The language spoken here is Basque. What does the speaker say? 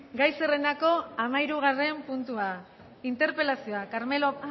gai zerrendako hamalaugarren puntua interpelazioa